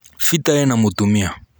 peter ena mũtumia